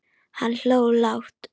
Hann hló lágt.